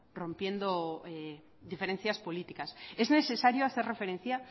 rompiendo diferencias políticas es necesario hacer referencia